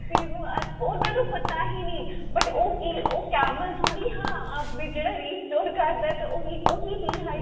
ਇਸ ਚੀਜ ਉਹਨਾਂ ਨੂੰ ਪਤਾ ਹੀ ਨਹੀਂ but ਉਹ ਕੀ ਉਹ camel ਥੋੜੀ ਹਾਂ ਕੀ ਜਿਹੜਾ restore ਕਰਦਾ ਤਾਂ ਉਹੀ ਉਹੀ dehydration